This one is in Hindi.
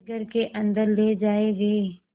वे घर के अन्दर ले जाए गए